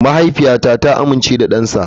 Mahaifiyata ta amince da dansa.